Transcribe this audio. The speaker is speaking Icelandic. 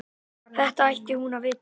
Þetta ætti hún að vita.